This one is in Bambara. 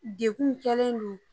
Dekun kɛlen don